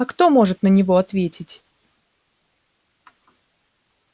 а кто может на него ответить